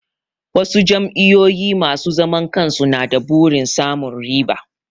Wasu jami'o'i masu zaman kansu na da burin samun riba.